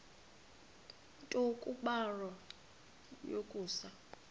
nto kubarrow yokusa